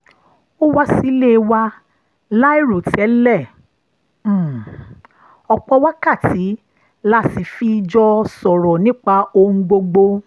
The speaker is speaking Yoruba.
ó wá sílé wa láìròtẹ́lẹ̀ ọ̀pọ̀ wákàtí la sì fi jọ sọ̀rọ̀ nípa ohun gbogbo